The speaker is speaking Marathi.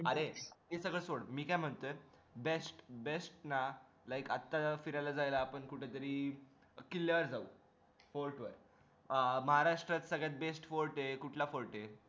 अरे ते सगळं सोड मी काय म्हणतोय best best ना like आता आपण फिरायला जायला कुठे तरी किल्यावर जाऊ fort वर महाराष्ट्रात सगळ्यात best fort हे कुठला fort हे